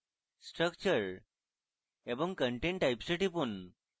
structure এবং content types এ টিপুন